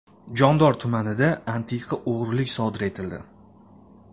Jondor tumanida antiqa o‘g‘rilik sodir etildi.